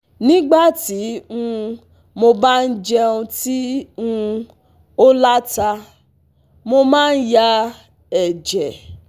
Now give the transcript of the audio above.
Nígbà tí um mo bá jẹun tí um ó la ta, mo máa ń ya ẹ̀jẹ̀